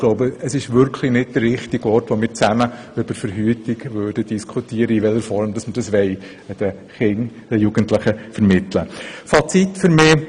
Ich glaube, hier wäre wirklich nicht der richtige Ort, um darüber zu diskutieren, in welcher Form wir den Kindern und Jugendlichen Verhütungsmöglichkeiten vermittelt haben möchten.